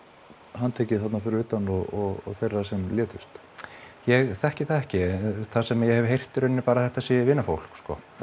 handtekið þarna fyrir utan og þeirra sem létust ég þekki það ekki það sem ég hef heyrt er í raun bara að þetta sé vinafólk